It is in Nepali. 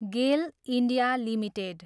Gielle, India, limited